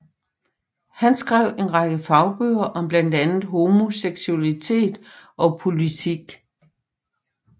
Han skrev en række fagbøger om blandt andet homoseksualitet og politik